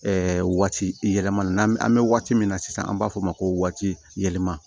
waati yɛlɛma na an bɛ waati min na sisan an b'a fɔ o ma ko waati yɛlɛma